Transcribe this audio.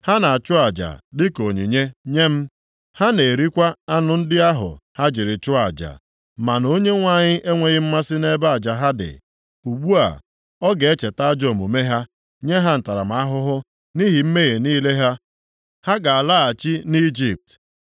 Ha na-achụ aja dịka onyinye nye m, ha na-erikwa anụ ndị ahụ ha jiri chụọ aja, ma na Onyenwe anyị enweghị mmasị nʼebe aja ha dị. Ugbu a, ọ ga-echeta ajọ omume ha, nye ha ntaramahụhụ nʼihi mmehie niile ha, ha ga-alaghachi nʼIjipt.